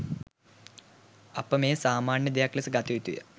අප මෙය සාමාන්‍ය දෙයක් ලෙස ගත යුතුය